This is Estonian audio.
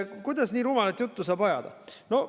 Kuidas saab nii rumalat juttu ajada?